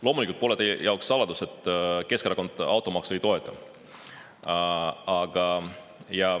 Loomulikult pole teie jaoks saladus, et Keskerakond automaksu ei toeta.